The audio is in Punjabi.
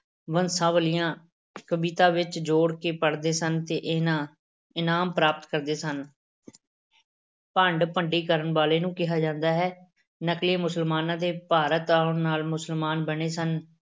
ਬੰਸਾਵਲੀਆਂ ਕਵਿਤਾ ਵਿੱਚ ਜੋੜ ਕੇ ਪੜ੍ਹਦੇ ਸਨ ਤੇ ਇਹਨਾਂ ਇਨਾਮ ਪ੍ਰਾਪਤ ਕਰਦੇ ਸਨ ਭੰਡ ਭੰਡੀ ਕਰਨ ਵਾਲੇ ਨੂੰ ਕਿਹਾ ਜਾਂਦਾ ਹੈ, ਨਕਲੀਏ ਮੁਸਲਮਾਨਾਂ ਦੇ ਭਾਰਤ ਆਉਣ ਨਾਲ ਮੁਸਲਮਾਨ ਬਣੇ ਸਨ।